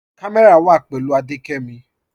Kàmẹ́rà wà pẹ̀lú Adékẹ́mí